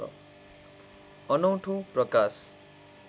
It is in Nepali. अनौठो प्रकाश